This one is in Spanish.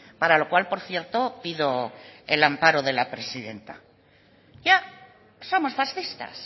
para lo cual por cierto pido el amparo de la presidenta ya somos fascistas